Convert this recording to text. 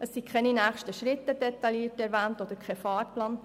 So sind weder nächste Schritte noch ein Fahrplan erwähnt.